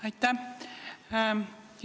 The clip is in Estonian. Aitäh!